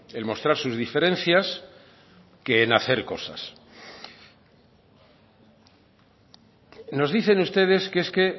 el mostrar sus diferencias que en hacer cosas nos dicen ustedes que es que